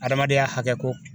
Adamadenya hakɛko